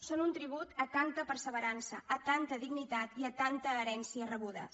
són un tribut a tanta perseverança a tanta dignitat i a tanta herència rebudes